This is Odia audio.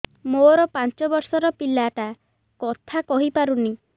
ମୋର ପାଞ୍ଚ ଵର୍ଷ ର ପିଲା ଟା କଥା କହି ପାରୁନି